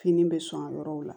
Fini bɛ sɔn yɔrɔw la